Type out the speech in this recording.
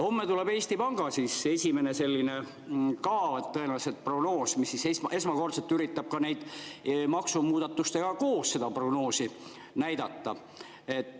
Homme tuleb Eesti Panga esimene selline tõenäoliselt prognoos, mis esmakordselt üritab maksumuudatustega koos seda prognoosi näidata.